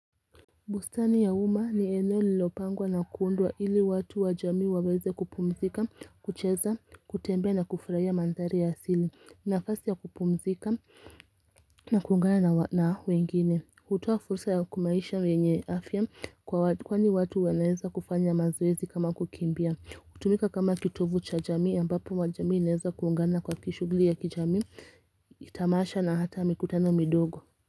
Bustani ya uma ni eneo lilopangwa na kuundwa ili watu wa jamii waweze kupumzika, kucheza, kutembea na kufurahia mandari ya asili. Nafasi ya kupumzika na kuungana na wengine. Hutoa fursa ya kumaisha wenye afya kwani watu wanaeza kufanya mazoezi kama kukimbia. Kutumika kama kitovu cha jamii ambapo wa jamii naeza kuungana kwa kishugli ya kijamii kitamasha na hata mikutano midogo.